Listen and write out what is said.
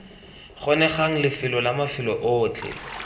kgonegang lefelo la mafelo otlhe